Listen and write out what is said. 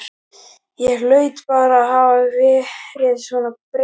Ég hlaut bara að hafa verið svona þreytt.